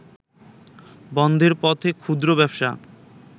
বন্ধের পথে ক্ষুদ্র ব্যবসা